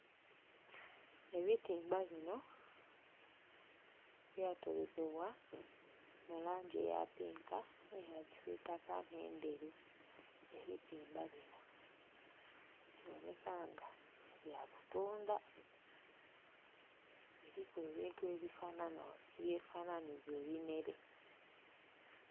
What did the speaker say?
Ebitimba bino byatolekebwa mu langi eya pinka, n'eya kisitaka n'endheru. Ebitimba bino biboneka nga bya kutunda. Kuliku ebintu ebyefananhiza ebinhere